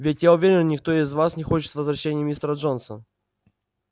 ведь я уверен никто из вас не хочет возвращения мистера джонса